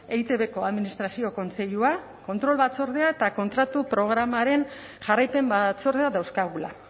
eitbko administrazio kontseilua kontrol batzordea eta kontratu programaren jarraipen batzordea dauzkagula